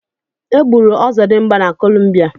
E gburu ọzọdimgba na Columbia.